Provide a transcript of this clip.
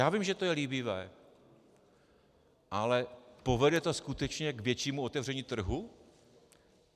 Já vím, že to je líbivé, ale povede to skutečně k většímu otevření trhu?